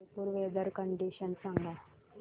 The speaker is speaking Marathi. जयपुर वेदर कंडिशन सांगा